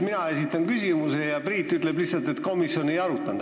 Mina esitan küsimuse ja Priit ütleb lihtsalt, et komisjon seda ei arutanud.